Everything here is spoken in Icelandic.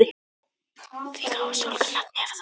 Við gáfum stúlkunni nafnið Eva Þóra.